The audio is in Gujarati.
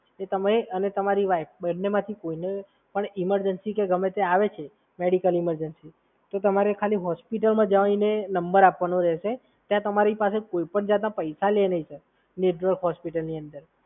તમે અને તમારી વાઈફ બન્નેમાંથી કોઈને ઇમરજન્સી કે ગમે તે આવે છે, મેડિકલ ઇમરજન્સી, તો તમારે ખાલી હોસ્પિટલમાં જઈને નંબર આપવાનો રહેશે. નેટવર્ક હોસ્પિટલની અંદર ત્યાં તમારી પાસે કોઈપણ જાતના પૈસા નહીં લે, સર.